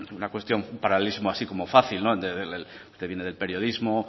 una cuestión paralelismo así como fácil usted viene del periodismo